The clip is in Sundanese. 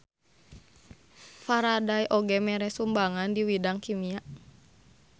Faraday oge mere sumbangan di widang kimia.